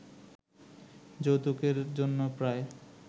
যৌতুকের জন্য প্রায়